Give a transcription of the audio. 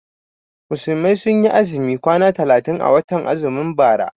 Musulmai sun yi azumi kwana talatin a watan azumin bara.